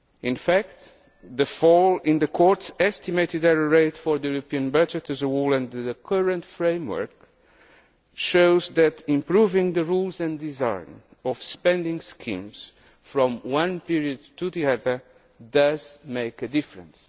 In fact, the fall in the Court's estimated error rate for the European budget as a whole under the current framework shows that improving the rules and design of spending schemes from one period to the next does make a difference.